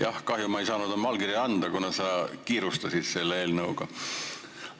Jah, kahjuks ma ei saanud oma allkirja anda, kuna sa kiirustasid selle eelnõuga.